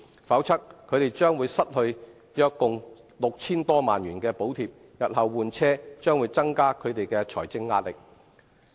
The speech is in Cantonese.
否則，他們將會失去約共 6,000 多萬元的補貼，日後換車將增加他們的財政壓力。